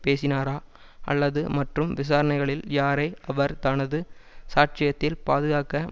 பேசினாரா அல்லது மற்றும் விசாரணைகளில் யாரை அவர் தனது சாட்சியத்தில் பாதுகாக்க